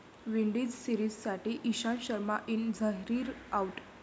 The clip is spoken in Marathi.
विंडीज सिरीजसाठी ईशांत शर्मा इन, झहीर आऊट